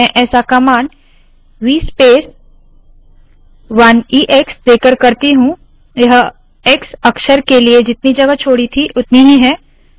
मैं ऐसा vspace command – 1 ex देकर करती हूँ यह x अक्षर के लिए जितनी जगह छोडी थी उतनी ही है